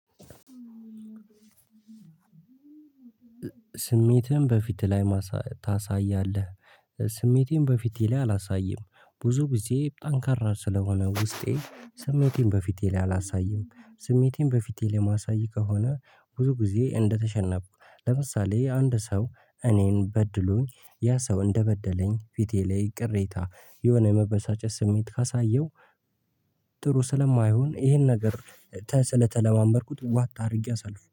ስሜትህን በፊት ላይ ማሳ ታሳያለህ? እ ስሜቴን በፊቴ ላይ አላሳይም ብዙ ጊዜ ጠንካራ ስለሆነ ውስጤ ስሜቴን በፊቴ ላይ አላሳይም። ስሜቴን በፊቴ ማሳይ ከሆነ ብዙ ጊዜ እንደተሸነፍኩ ለምሳሌ አንድ ሰው እኔን በድሎኝ ያ ሰው እንደበደለኝ ፊቴ ላይ ቅሬታ የሆነ የመበሳጨት ስሜት ካሳየው። ጥሩ ስለማይሆን ይሄን ነገር ተ ስለተለማመድኩት ዋጥ አድርጌ አሳልፍ